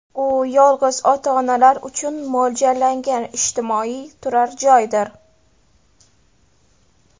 U yolg‘iz ota-onalar uchun mo‘ljallangan ijtimoiy turar-joydir.